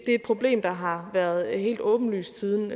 et problem der har været helt åbenlyst siden